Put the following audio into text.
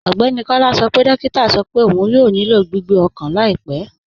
Ọgbẹ́ni Kọla sọ pé dòkìtà sọ fún pé ọún yóò nílò gbìgbé ọkan laipẹ̀.